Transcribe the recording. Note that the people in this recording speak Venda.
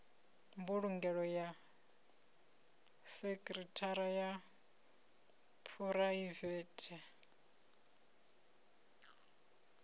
mbulungelo ya sekhithara ya phuraivethe